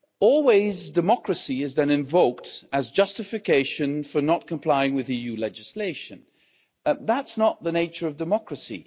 Always, democracy is then invoked as justification for not complying with EU legislation. That's not the nature of democracy.